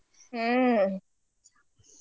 ಹ್ಮ.